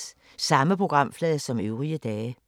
Samme programflade som øvrige dage